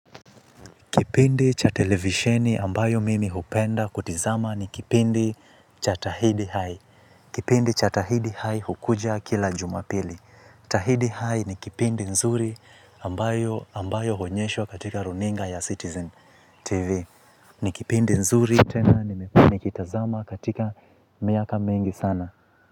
Kipindi cha televisheni ambayo mimi hupenda kutizama ni kipindi cha tahidi high. Kipindi cha tahidi high hukuja kila jumapili. Tahidi hai ni kipindi nzuri ambayo huonyeshwa katika runinga ya Citizen TV. Ni kipindi nzuri tena nimekuwa nikitazama katika miaka mengi sana.